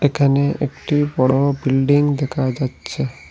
এখানে একটি বড় বিল্ডিং দেখা যাচ্ছে।